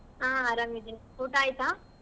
ಆಹ್ ಅರಾಮ್ ಇದಿನ್ ಊಟಾ ಆಯ್ತಾ?